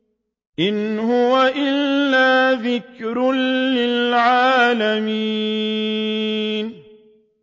إِنْ هُوَ إِلَّا ذِكْرٌ لِّلْعَالَمِينَ